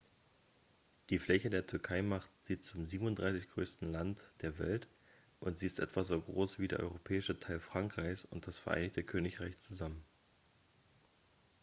die fläche der türkei macht sie zum 37.-größten land der welt und sie ist etwa so groß wie der europäische teil frankreichs und das vereinigte königreich zusammen